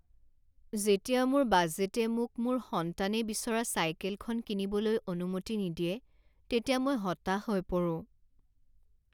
যেতিয়া মোৰ বাজেটে মোক মোৰ সন্তানে বিচৰা চাইকেলখন কিনিবলৈ অনুমতি নিদিয়ে তেতিয়া মই হতাশ হৈ পৰো।